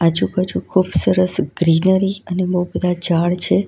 આજુબાજુ ખુબ સરસ ગ્રીનરી અને બહુ બધા ઝાડ છે.